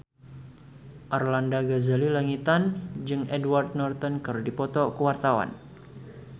Arlanda Ghazali Langitan jeung Edward Norton keur dipoto ku wartawan